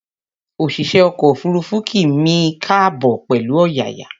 Òṣìṣẹ́ ọkọ̀ òfuruufú kí mi káàbọ̀ pẹ̀lú ọ̀yàyà